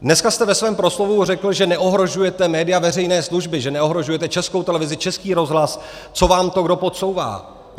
Dneska jste ve svém proslovu řekl, že neohrožujete média veřejné služby, že neohrožujete Českou televizi, Český rozhlas, co vám to kdo podsouvá.